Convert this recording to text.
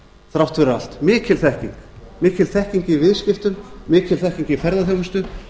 þrátt fyrir allt mikill þekking i viðskiptum mikil þekking í ferðaþjónustu